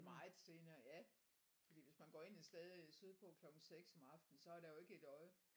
Meget senere ja fordi hvis man går ind et sted syd på klokken 6 om aftenen så er der jo ikke et øje